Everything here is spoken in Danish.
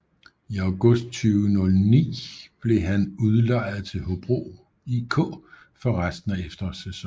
I august 2009 blev han udlejet til Hobro IK for resten af efterårssæsonen